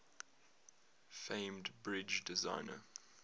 famed bridge designer